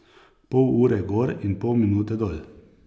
Pol ure gor in pol minute dol.